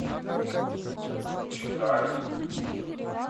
чекалин